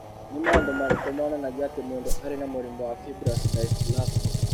Nĩ maũndũ marĩkũ monanagia atĩ mũndũ arĩ na mũrimũ wa fibrous dysplasia?